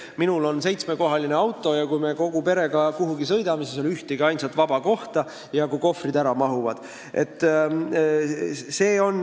Minul on seitsmekohaline auto ja kui me kogu perega kuhugi sõidame, siis ei ole seal ainsatki vaba kohta – hea, kui kohvrid ära mahuvad.